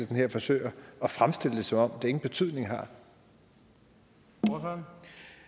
her forsøger at fremstille det som om det ingen betydning har